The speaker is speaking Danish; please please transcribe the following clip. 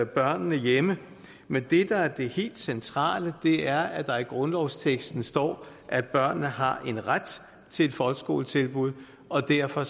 børnene hjemme men det der er det helt centrale er at der i grundlovsteksten står at børnene har en ret til et folkeskoletilbud og derfor